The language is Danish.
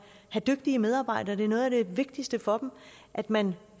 dygtige medarbejdere det er noget af det vigtigste for dem at man